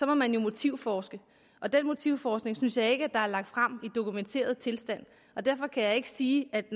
man motivforske den motivforskning synes jeg ikke der er lagt frem i dokumenteret tilstand og derfor kan jeg ikke sige at